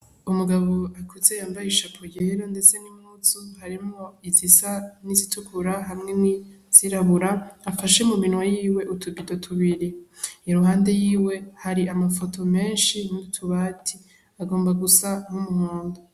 Umugabo akuze yambaye ishapo yera ndetse n'impuzu harimwo izisa n'izitukura hamwe n'izirabura, afashe muminwe yiwe utubido tubiri. Iruhande yiwe hari amafoto menshi n'utubati. Agomba gusa nk'umuhondo.